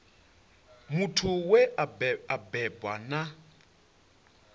muthu we a bebwa na